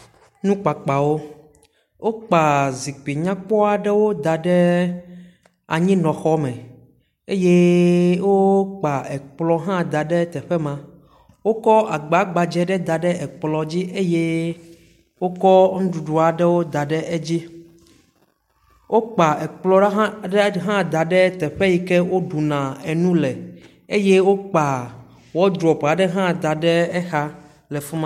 Nukpakpawo, wokpa zikpui aɖewo da ɖe anyinɔxɔme eye wo kpa ekplɔ hã da ɖe teƒe ma, wokɔ agba gbadze ɖe da ɖe ekplɔ dzi eye wokɔ nuyɖuɖu aɖewo da ɖe edzi wokpa ekpl aɖe hã da ɖe teƒ aɖe si woɖuna nu le eye wokpa wɔdropu aɖe hã da ɖe teƒe ma.